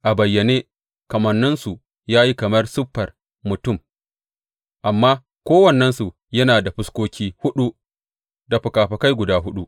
A bayyane kamanninsu ya yi kamar siffar mutum, amma kowannensu yana da fuskoki huɗu da fikafikai guda huɗu.